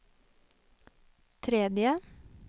tredje